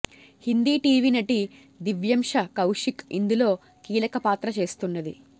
Hindi TV నటి దివ్యంష కౌశిక్ ఇందులో కీలక పాత్ర చేస్తున్నది